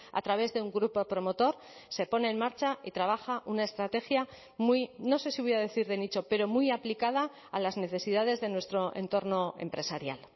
a través de un grupo promotor se pone en marcha y trabaja una estrategia muy no sé si voy a decir de nicho pero muy aplicada a las necesidades de nuestro entorno empresarial